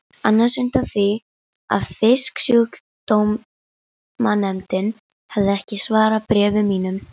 annars undan því að Fisksjúkdómanefnd hefði ekki svarað bréfum mínum.